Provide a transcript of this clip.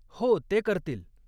हो, ते करतील.